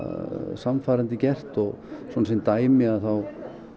sannfærandi gert og svona sem dæmi þá